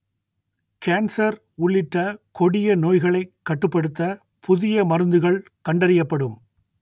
cancer உள்ளிட்ட கொடிய நோய்களை கட்டுப்படுத்த புதிய மருந்துகள் கண்டறியப்படும்